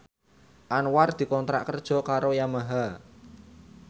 Anwar dikontrak kerja karo Yamaha